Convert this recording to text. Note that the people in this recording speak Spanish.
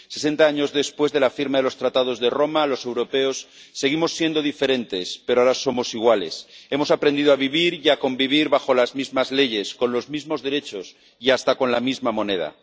Sesenta años después de la firma de los Tratados de Roma los europeos seguimos siendo diferentes, pero ahora somos iguales. Hemos aprendido a vivir y a convivir bajo las mismas leyes, con los mismos derechos y hasta con la misma moneda.